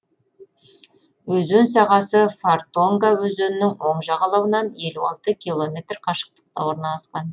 өзен сағасы фортонга өзенінің оң жағалауынан елу алты километр қашықтықта орналасқан